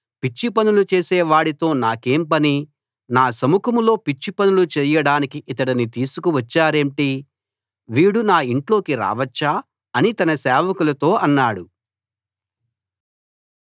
పిచ్చి పనులు చేసేవాడితో నాకేం పని నా సముఖంలో పిచ్చి పనులు చేయడానికి ఇతడిని తీసుకువచ్చారేంటి వీడు నా ఇంట్లోకి రావచ్చా అని తన సేవకులతో అన్నాడు